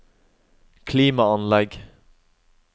klimaanlegg